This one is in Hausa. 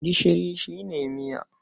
Gishiri shi ne miya.